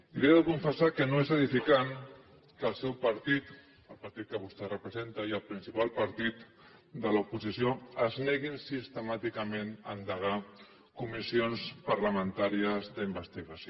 i li he de confessar que no és edificant que el seu partit el partit que vostè representa i el principal partit de l’oposició ens neguin sistemàticament a endegar comissions parlamentàries d’investigació